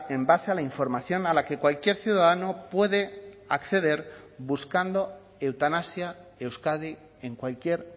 en base a la información a la que cualquier ciudadano puede acceder buscando eutanasia euskadi en cualquier